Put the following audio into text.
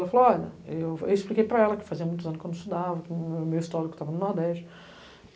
Eu expliquei para ela que fazia muitos anos que eu não estudava, que o meu histórico estava no Nordeste.